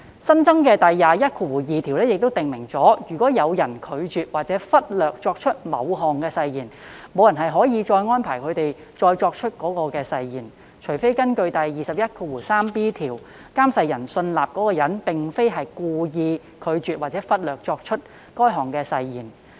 新增的第212條亦訂明，如有人拒絕或忽略作出某項誓言，無人可安排該人再作出該項誓言，除非根據第 213b 條，監誓人信納該人並非故意拒絕或忽略作出該項誓言。